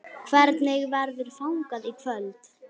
Hvernig verður fagnað í kvöld?